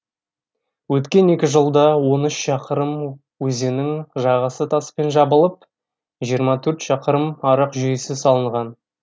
өткен екі жылда он үш шақырым өзеннің жағасы таспен жабылып жиырма төрт шақырым арық жүйесі салынған